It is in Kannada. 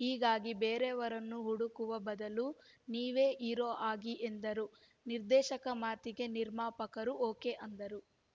ಹೀಗಾಗಿ ಬೇರೆಯವರನ್ನು ಹುಡುಕುವ ಬದಲು ನೀವೇ ಹೀರೋ ಆಗಿ ಎಂದರು ನಿರ್ದೇಶಕ ಮಾತಿಗೆ ನಿರ್ಮಾಪಕರು ಓಕೆ ಅಂದರು